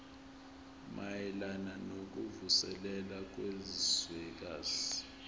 mayelana nokuvuselela kwezwekazi